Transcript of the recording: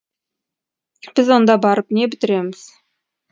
біз онда барып не бітіреміз